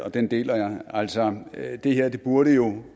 og den deler jeg altså det her burde jo